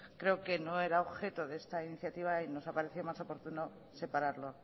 creo que no era objeto de esta iniciativa y nos ha parecido más oportuno separarlo